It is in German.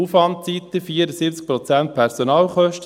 Aufwandseite: 74 Prozent Personalkosten.